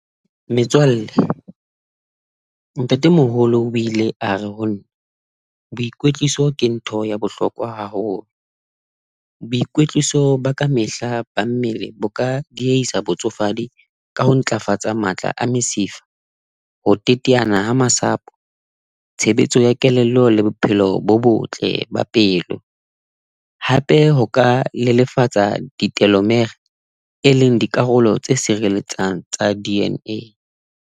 Metswalle, ntate Moholo o ile a re ho nna boikwetliso ke ntho ya bohlokwa haholo. Boikwetliso ba kamehla ba mmele bo ka diyeisa botsofadi ka ho ntlafatsa matla a mesifa, ho teteana ha masapo, tshebetso ya kelello le bophelo bo botle ba pelo. Hape ho ka lelefatsa ditelomere e leng dikarolo tse sireletsang tsa D_N_A.